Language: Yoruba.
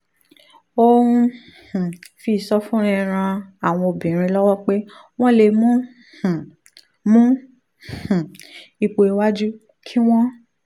ó ń um fi ìsọfúnni ran àwọn obìnrin lọ́wọ́ pé wọ́n lè mú um mú um ipò iwájú kí wọ́n